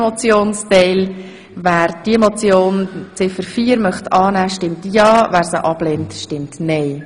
Wer Ziffer 4 als Motion annehmen will, stimmt ja, wer dies ablehnt, stimmt nein.